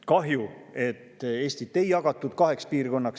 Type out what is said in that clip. Kahju, et Eestit ei jagatud kaheks piirkonnaks.